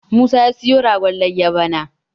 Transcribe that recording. Musa ya siyo ragon layyar bana